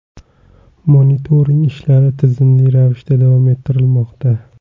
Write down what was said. Monitoring ishlari tizimli ravishda davom ettirilmoqda.